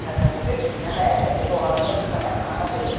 Xəzəngül nəhayət səsi boğazında tıxana-tıxana dedi: